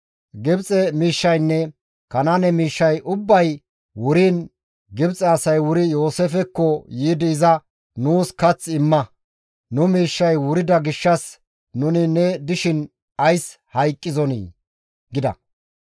Gibxe miishshaynne Kanaane miishshay ubbay wuriin Gibxe asay wuri Yooseefekko yiidi iza, «Nuus kath imma; nu miishshay wurida gishshas nuni ne dishin ays hayqqizonii?» gida.